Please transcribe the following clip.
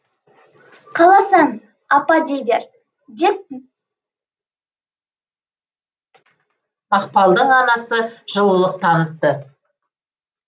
қаласаң апа дей бер деп мақпалдың анасы жылылық танытты